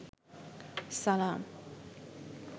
সালাম